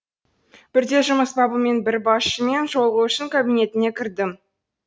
бірде жұмыс бабымен бір басшымен жолығу үшін кабинетіне кірдім